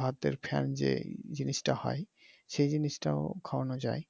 ভাতের ফ্যান যে জিনিসটা হয় সে জিনিসটা খাওয়ানো যায়